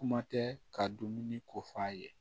Kuma tɛ ka dumuni ko f'a ye